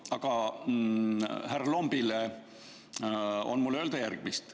Aga härra Lombile on mul öelda järgmist.